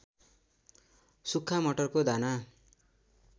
सुक्खा मटरको दाना